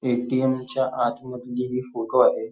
ATM. च्या आत मधली ही फोटो आहे.